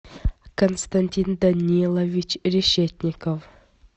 константин данилович решетников